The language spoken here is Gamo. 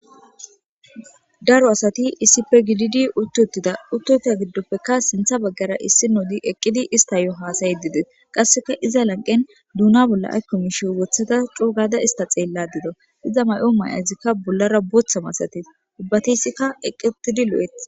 Daro asati issippe gididi uththiuththida;uththoita giddoppekka sinththa baggaara issinodi eqqidi istayo haasayide de7es; qassikka iza lanqqen doona bollan aykko miishshiyo woththida coo gaada isththa xeellaade dawu; iza ma7o maay7azikka bollaara booththa masathes; ubbathissika eqqiuththidi lo7es.